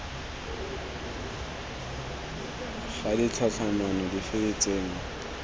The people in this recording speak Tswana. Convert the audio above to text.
ga ditlhatlhamano dife tse dingwe